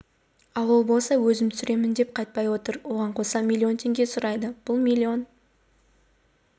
ал ол болса өзім түсіремін деп қайтпай отыр оған қоса миллион теңге сұрайды бұл миллион